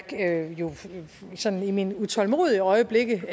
sådan i mine utålmodige øjeblikke